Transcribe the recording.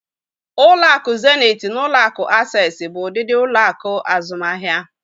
Ụlọ akụ zenit na ụlo akụ Asesi bụ ụdịdị ụlọ akụ azụmahia.